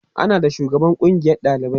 ana da shugaban kungiyan ɗalibai